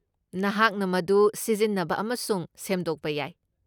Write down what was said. ꯅꯍꯥꯛꯅ ꯃꯗꯨ ꯁꯤꯖꯤꯟꯅꯕ ꯑꯃꯁꯨꯡ ꯁꯦꯝꯗꯣꯛꯄ ꯌꯥꯏ ꯫